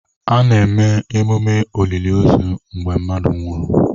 A na-eme emume oliliozu mgbe mmadụ nwụrụ.